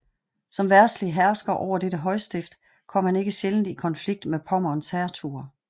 Som verdslig hersker over dette højstift kom han ikke sjældent i konflikt med Pommerns hertuger